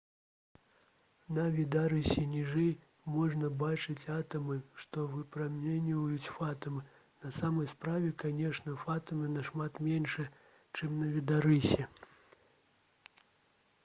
на відарысе ніжэй можна бачыць атамы што выпраменьваюць фатоны на самой справе канешне фатоны нашмат меншыя чым на відарысе